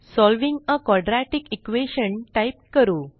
solving आ quadratic equation type करू